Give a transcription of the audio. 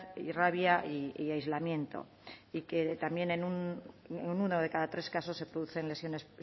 rabia y aislamiento y que también en uno de cada tres casos se producen lesiones